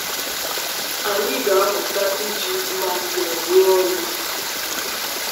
Anyị ga-amụta iji mma mmụọ rụọ ọrụ n’amamihe.